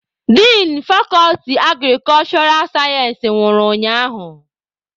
Din fakọlti agrikulshura sayensị nwụrụ ụnyaahụ.